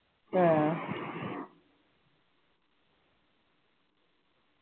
ആഹ്